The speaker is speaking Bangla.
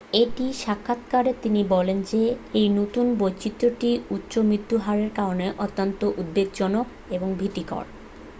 "একটি সাক্ষাৎকারে তিনি বলেন যে এই নতুন বৈচিত্র্যটি "উচ্চ মৃত্যুর হারের কারণে অত্যন্ত উদ্বেগজনক এবং ভীতিকর।